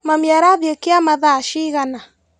Mami arathiĩ kĩama thaa cigana?